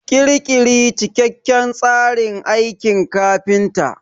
Ƙirƙiri cikakken tsarin aikin kafinta.